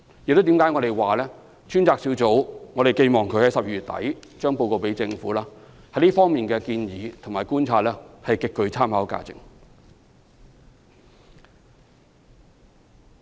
所以我們認為，專責小組於12月底向政府提交的報告，在這方面的建議和觀察將極具參考價值。